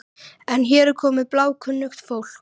En hér er komið bláókunnugt fólk.